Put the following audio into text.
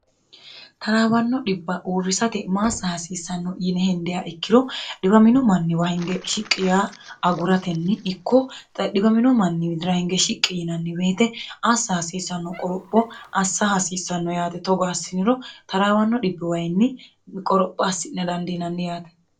taraawanno dhibba uurrisate maassa hasiissanno yine hindeya ikkiro dhiwamino manniwa hinge shiqqi yaa aguratenni ikko xa dhiwamino manni widira hinge shiqqi yinanni beete assa hasiissanno qoropho assa hasiissanno yaate togo assi'niro taraawanno dibbiwayinni qoropho assi'ne dandiinanni yaate